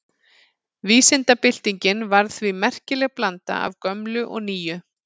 Vísindabyltingin var því merkileg blanda af gömlu og nýju.